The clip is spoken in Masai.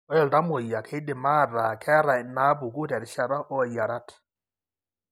Ore iltamuoyia keidim aataa keeta inaapuku terishata oiarat.